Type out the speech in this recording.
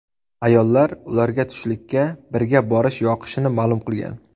Ayollar ularga tushlikka birga borish yoqishini ma’lum qilgan.